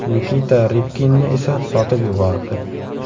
Nikita Ribkinni esa sotib yubordi.